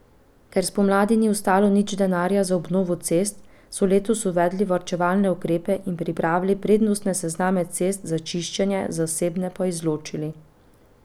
Ker spomladi ni ostalo nič denarja za obnovo cest, so letos uvedli varčevalne ukrepe in pripravili prednostne sezname cest za čiščenje, zasebne pa izločili.